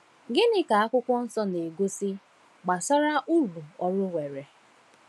Gịnị ka Akwụkwọ Nsọ na-egosi gbasara uru ọrụ nwere?